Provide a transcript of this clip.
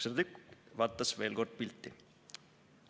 Serdjuk vaatas veel kord pilti.